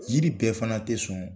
Yiri bɛɛ fana tɛ sɔn.